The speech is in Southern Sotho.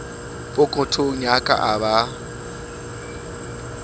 pokothong ya ka a ba